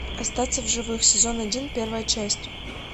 остаться в живых сезон один первая часть